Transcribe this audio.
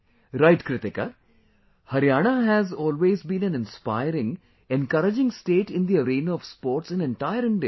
Right Kritika, Haryana has always been an inspiring, encouraging state in the arena of sports in entire India